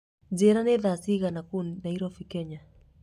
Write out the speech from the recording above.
njĩra nĩ thaa cigana kũũ nairobi kenya